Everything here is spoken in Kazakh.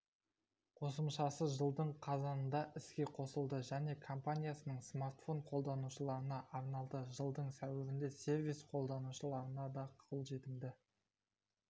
қосымшасы жылдың қазанында іске қосылды және компаниясының смартфон қолданушыларына арналды жылдың сәуірінде сервис қолданушыларына да қолжетімді